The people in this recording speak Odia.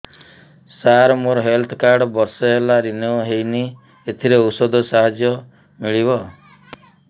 ସାର ମୋର ହେଲ୍ଥ କାର୍ଡ ବର୍ଷେ ହେଲା ରିନିଓ ହେଇନି ଏଥିରେ ଔଷଧ ସାହାଯ୍ୟ ମିଳିବ